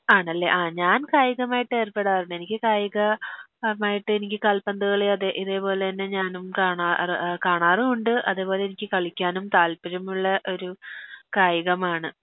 ആണല്ലെ ആ ഞാൻ കായികമായിട്ട് ഏർപ്പെടാറുണ്ട് എനിക്ക് കായികമായിട്ട് എനിക്ക് കാൽപ്പന്ത് കളി അതെ ഇതേ പോലെന്നെ ഞാനും കാണാറ് കാണാറുണ്ട് അതെ പോലെ എനിക്ക് കളിക്കാനും താൽപ്പര്യമുള്ള ഒരു കായികമാണ്